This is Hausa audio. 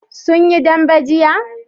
sun yi dambe jiya?